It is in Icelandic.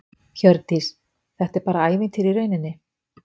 Hjördís: Og þetta er bara ævintýri í rauninni?